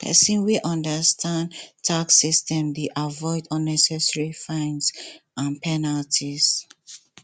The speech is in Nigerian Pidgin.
pesin wey understand tax system dey avoid unnecessary fines and penalties